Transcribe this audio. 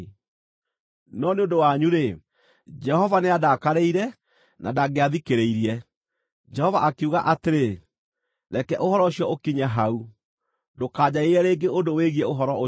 No nĩ ũndũ wanyu-rĩ, Jehova nĩandakarĩire na ndangĩathikĩrĩirie. Jehova akiuga atĩrĩ, “Reke ũhoro ũcio ũkinye hau, ndũkanjarĩrie rĩngĩ ũndũ wĩgiĩ ũhoro ũcio.